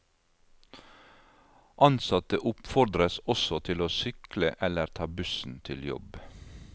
Ansatte oppfordres også til å sykle eller ta bussen til jobb.